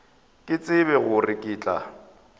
ke tsebe gore ke tla